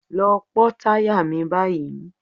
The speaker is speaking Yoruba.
Lọ pọ́ táyà mi báyìí.